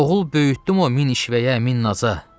Oğul böyütdüm o min işvəyə, min naza.